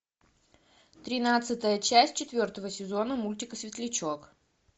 тринадцатая часть четвертого сезона мультика светлячок